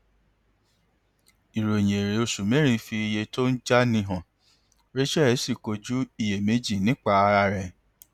ìròyìn èrè oṣù mẹrin fi iye tó ń jáni hàn rachel sì kojú iyèméjì nípa ara rẹ